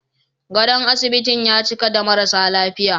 Gadon asibitin ya cika da marasa lafiya